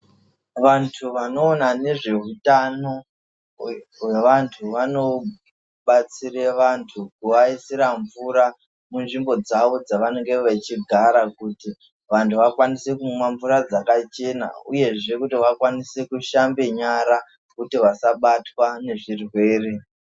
Vantu vanoona nezveutano hwevantu vanobatsire vantu kuvaisira mvura munzvimbo dzavo dzavanenge vechigara, kuti vantu vakwanise kumwa mvura dzakachena uyezve kuti vakwanise kushambe nyara kuti vasabatwa nezvirwere.